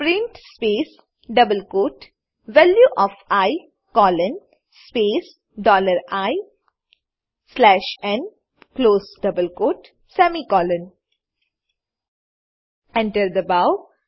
print space double quote value of I colon space dollar I slash n close double quote semicolon enter દબાવો